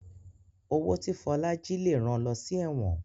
Owó tí Fola jí lẹ rán ló sí èwòn